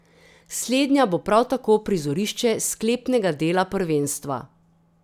Slednja bo prav tako prizorišče sklepnega dela prvenstva.